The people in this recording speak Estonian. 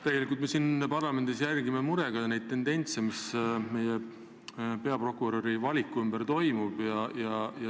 Tegelikult me siin parlamendis jälgime murega neid tendentse, mis meie peaprokuröri valikul ilmnevad.